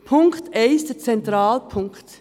Punkt 1, der zentrale Punkt: